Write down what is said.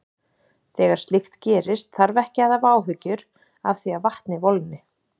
Þegar slíkt gerist þarf ekki að hafa áhyggjur af því að vatnið volgni.